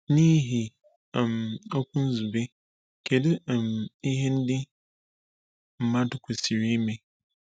N’ihi um okwu Nzube, kedu um ihe ndị mmadụ kwesịrị ime?